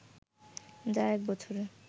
যা এক বছরে